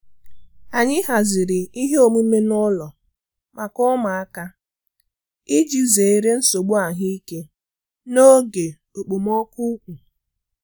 Anyi haziri ihe omume n'ụlọ maka ụmụaka iji zere nsogbu ahụike n'oge okpomọkụ ukwu.